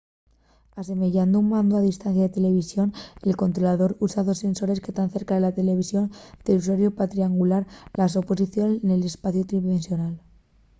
asemeyando un mandu a distancia de televisión el controlador usa dos sensores que tán cerca de la televisión del usuariu pa triangular la so posición nel espaciu tridimensional